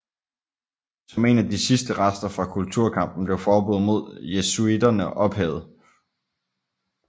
Som en af de sidste rester fra kulturkampen blev forbuddet mod jesuitterne ophævet